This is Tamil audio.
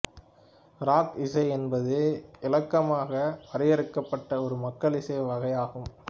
ராக் இசை என்பது இளக்கமாக வரையறுக்கப்பட்ட ஒரு மக்கள் இசை வகையாகும்